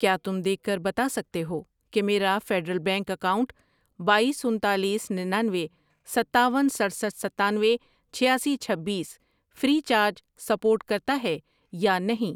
کیا تم دیکھ کر بتا سکتے ہو کہ میرا فیڈرل بینک اکاؤنٹ بایس، انتالیس، ننانوے، ستاون، سٹرسٹھ ،ستانوے، چھیاسی، چھبیس فری چارج سپورٹ کرتا ہے یا نہیں؟